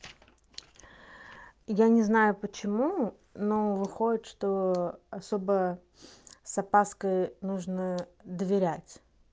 я не знаю почему но выходит что особо с опаской нужно доверять